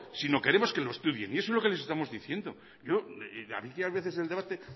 sino queremos que lo estudien y eso es lo que les estamos diciendo yo aquí a veces el debate